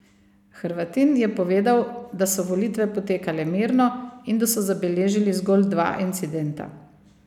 Hrvatin je povedal, da so volitve potekale mirno in da so zabeležili zgolj dva incidenta.